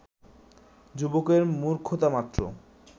যুবকের মূর্খতামাত্র